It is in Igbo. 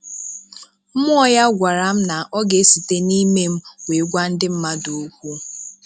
Mmụọ ya gwara m na ọ ga e site n'ime m wee gwa ndị mmadụ okwu